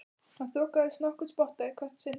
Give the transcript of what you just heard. Hann þokaðist nokkurn spotta í hvert sinn.